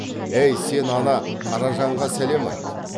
эй сен ана қаражанға сәлем айт